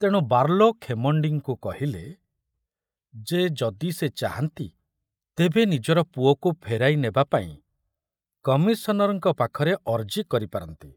ତେଣୁ ବାର୍ଲୋ ଖେମଣ୍ଡିଙ୍କୁ କହିଲେ ଯେ ଯଦି ସେ ଚାହାନ୍ତି ତେବେ ନିଜର ପୁଅକୁ ଫେରାଇ ନେବାପାଇଁ କମିଶନରଙ୍କ ପାଖରେ ଅର୍ଜି କରିପାରନ୍ତି।